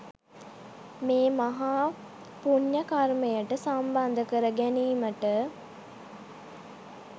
මේ මහා පුණ්‍යකර්මයට සම්බන්ධ කර ගැනීමට